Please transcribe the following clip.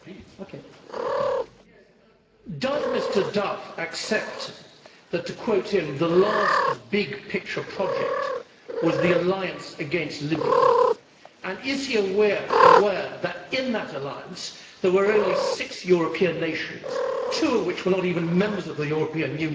Madam President, does Mr Duff accept that, to quote him, the last big picture project' was the alliance against Libya, and is he aware that in that alliance there were only six European nations, two of which were not even members of the European Union?